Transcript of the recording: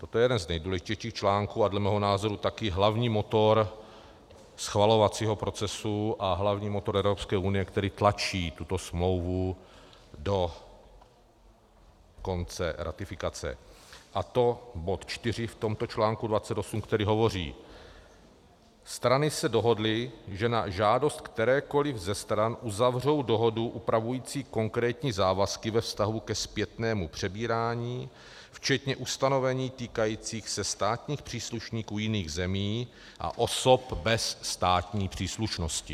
Toto je jeden z nejdůležitějších článků a dle mého názoru taky hlavní motor schvalovacího procesu a hlavní motor Evropské unie, který tlačí tuto smlouvu do konce ratifikace, a to bod 4 v tomto článku 28, který hovoří: Strany se dohodly, že na žádost kterékoli ze stran uzavřou dohodu upravující konkrétní závazky ve vztahu ke zpětnému přebírání včetně ustanovení týkajících se státních příslušníků jiných zemí a osob bez státní příslušnosti...